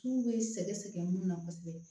K'u bɛ sɛgɛsɛgɛ mun na kosɛbɛ